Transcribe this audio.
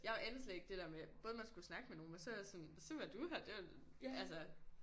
Jeg anede slet ikke det der med både man skulle snakke med nogen men så var jeg også sådan så var du her det altså